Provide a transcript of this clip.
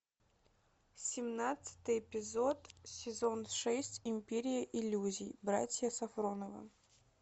семнадцатый эпизод сезон шесть империя иллюзий братья сафроновы